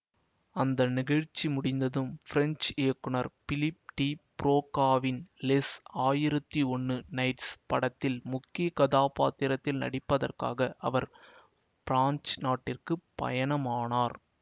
அந்த நிகழ்ச்சி முடிந்ததும் ஃபிரெஞ்ச் இயக்குனர் பிலிப் டி ப்ரோகாவின் லெஸ் ஆயிரத்தி ஒன்னு நைட்ஸ் படத்தில் முக்கிய கதாப்பாத்திரத்தில் நடிப்பதற்காக அவர் ஃபிரான்ஸ் நாட்டிற்கு பயணமானார்